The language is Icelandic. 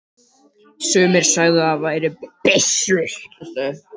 Sumir sögðu að það væri byssur.